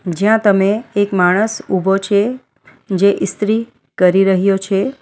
જ્યાં તમે એક માણસ ઊભો છે જે ઈસ્ત્રી કરી રહ્યો છે.